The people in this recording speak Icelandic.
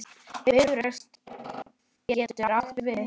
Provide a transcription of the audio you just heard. Bifröst getur átt við